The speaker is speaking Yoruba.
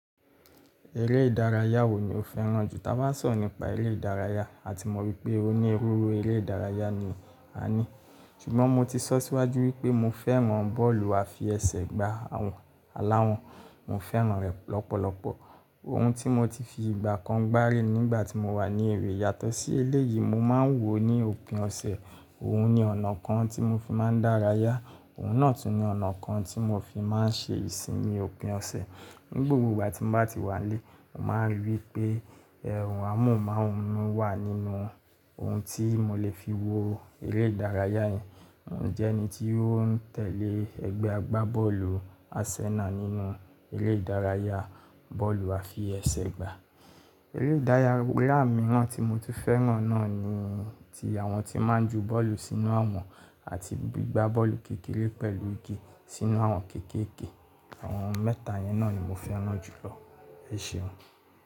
Eré ìdárayá wo ni o fẹ́ràn jù? Táa bá sọ̀rọ̀ nípa eré ìdárayá, a ti mọ̀ wípé o ní iruiru orí eré ìdárayá ni a ní. Ṣùgbọ́n mo ti sọ́ síwájú wípé mo fẹ́ràn bọ́ọ̀lù àfi ẹsẹ̀ gba àwọn aláwọn. Mo fẹ́ràn rẹ̀ lọ́pọ̀lọpọ̀. Ohun tí mo ti fi ìgbà kan gbáré nígbà tí mo wà ní èrè yàtọ̀ sí eléyìí, mo máa ń wò ó ní òpin ọ̀sẹ̀. Òhun ni ọ̀nà kan tí mo fi máa ń dárayá. Òhun náà tún ní ọ̀nà kan tí mo fi máa ń ṣe ìsinmi òpin ọ̀sẹ̀. Ní gbogbo ìgbà tí mo bá ti wà nílé, mo máa ń rí i pé ẹ̀rùn amóhùnmáwòrán wà nínú ohun tí mo lè fi wo eré ìdárayá yẹn. Mò ń jẹ́ ẹni tí ó ń tẹ̀lé ẹgbẹ́ agbábọ́ọ̀lù Arsenal nínú eré ìdárayá bọ́ọ̀lù àfi ẹsẹ̀ gbá. Eré ìdárayá mìíràn tí mo ti fẹ́ràn náà ni tí àwọn tí máa ń ju bọ́ọ̀lù sínú àwọ̀n àti gbígbá bọ́ọ̀lù kékeré pẹ̀lú igi sínú àwọn kéékèè. Àwọn mẹ́ta yẹn náà ni mo fẹ́ràn náà jùlọ. Ẹ ṣeun.